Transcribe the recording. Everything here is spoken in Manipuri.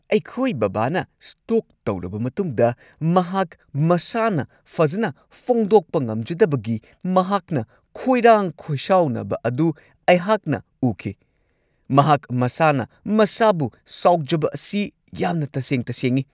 ꯑꯩꯈꯣꯢ ꯕꯕꯥꯅ ꯁ꯭ꯇꯣꯛ ꯇꯧꯔꯕ ꯃꯇꯨꯡꯗ ꯃꯍꯥꯛ ꯃꯁꯥꯅ ꯐꯖꯅ ꯐꯣꯡꯗꯣꯛꯄ ꯉꯝꯖꯗꯕꯒꯤ ꯃꯍꯥꯛꯅ ꯈꯣꯏꯔꯥꯡ-ꯈꯣꯏꯁꯥꯎꯅꯕ ꯑꯗꯨ ꯑꯩꯍꯥꯛꯅ ꯎꯈꯤ ꯫ ꯃꯍꯥꯛ ꯃꯁꯥꯅ-ꯃꯁꯥꯕꯨ ꯁꯥꯎꯖꯕ ꯑꯁꯤ ꯌꯥꯝꯅ ꯇꯁꯦꯡ-ꯇꯁꯦꯡꯉꯤ ꯫